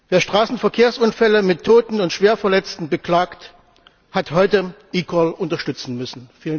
Wer Straßenverkehrsunfälle mit Toten und Schwerverletzten beklagt, hat heute eCall unterstützen müssen.